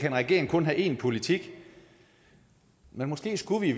en regering kun have én politik men måske skulle vi